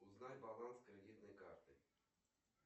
узнать баланс кредитной карты